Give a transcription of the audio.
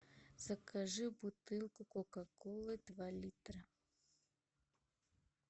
закажи бутылку кока колы два литра